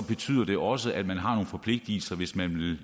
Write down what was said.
betyder det også at man har nogle forpligtelser hvis man